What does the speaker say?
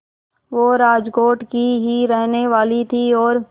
वो राजकोट की ही रहने वाली थीं और